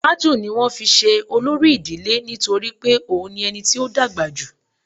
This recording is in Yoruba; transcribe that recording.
Tájú ní wọn fí se olori idile nitori pe òun ni ení tí ọ dàgbà jú